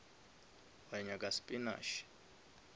wa nyaka spinash